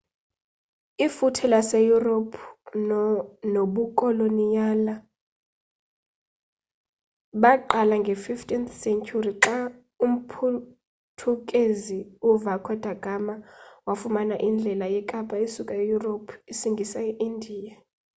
ifuthe lase europe nobukoloniyali baqala nge 15th senturi xa umphuthukezi u vaco da gama wafumana indlela yekapa esuka e europe isngisa e india